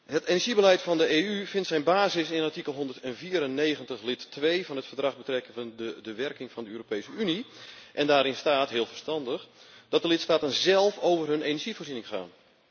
Het energiebeleid van de EU vindt zijn basis in artikel 194, lid 2, van het Verdrag betreffende de werking van de Europese Unie, en daarin staat heel verstandig dat de lidstaten zelf over hun energievoorziening gaan.